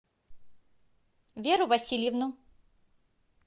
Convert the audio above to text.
веру васильевну